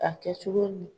A kɛ cogo ɲi